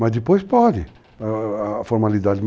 Mas depois pode, a formalidade.